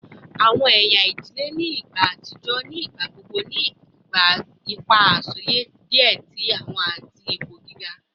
Awọn ẹya idile ni igba atijọ ni igbagbogbo ni awọn ipa asọye diẹ sii ati awọn ipo giga